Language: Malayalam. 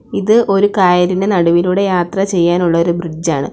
ഇത് ഒരു കായലിന് നടുവിലൂടെ യാത്ര ചെയ്യാനുള്ള ഒരു ബ്രിഡ്ജാണ് .